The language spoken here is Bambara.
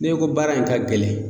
N'e ko baara in ka gɛlɛn